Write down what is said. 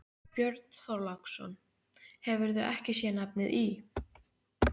Björn Þorláksson: Hefurðu ekki sé nafnið í?